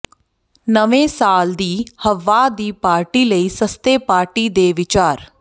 ਨਵੇਂ ਸਾਲ ਦੀ ਹੱਵਾਹ ਦੀ ਪਾਰਟੀ ਲਈ ਸਸਤੇ ਪਾਰਟੀ ਦੇ ਵਿਚਾਰ